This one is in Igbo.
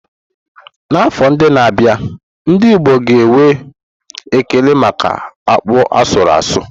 N'afọ ndị na-abịa, ndị Igbo ga na-enwe ekele maka akpu asuru asu.